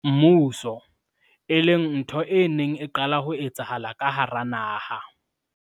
mmuso, e leng ntho e neng e qala ho etsahala ka hara naha.